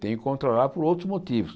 Tenho que controlar por outros motivos.